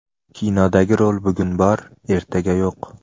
Kinodagi rol bugun bor, ertaga yo‘q.